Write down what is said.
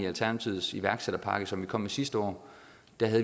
alternativets iværksætterpakke som vi kom med sidste år